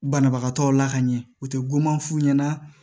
Banabagatɔw la ka ɲɛ u te guwan f'u ɲɛna